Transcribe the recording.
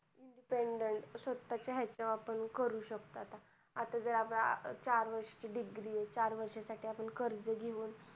स्वतःच्या ह्याच्यावर आपण करू शकतो आता करू शकतो आता. आता जर आपली चार वर्षाची degree आहे. चार वर्षासाठी आपण कर्ज घेऊ.